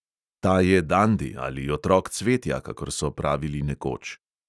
Ta je dandi ali otrok cvetja, kakor so pravili nekoč.